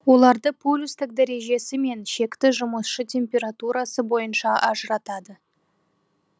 оларды полюстік дәрежесі мен шекті жұмысшы температурасы бойынша ажыратады